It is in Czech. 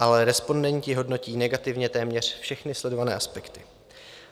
Ale respondenti hodnotí negativně téměř všechny sledované aspekty.